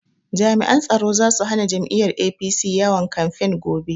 Jami'an tsaro zasu hana jam'iyyar APC yawon kamfen gobe